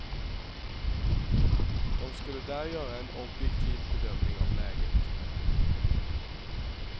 De skulle där göra en objektiv bedömning av läget.